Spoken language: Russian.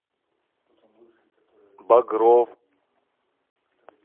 багров